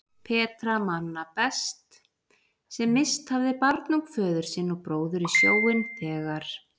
Petra manna best sem misst hafði barnung föður sinn og bróður í sjóinn þegar